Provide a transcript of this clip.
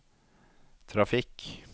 trafikk